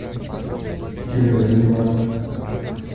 чем-нибудь заниматься